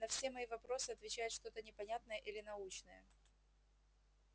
на все мои вопросы отвечает что-то непонятное или научное